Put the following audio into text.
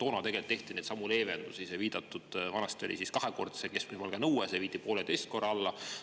Toona tegelt tehti neidsamu leevendusi, sai viidatud, et vanasti oli kahekordse keskmise palga nõue, see viidi alla, pooleteisekordse.